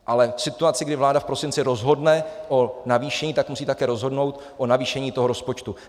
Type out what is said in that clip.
Ale v situaci, kdy vláda v prosinci rozhodne o navýšení, tak musí také rozhodnout o navýšení toho rozpočtu.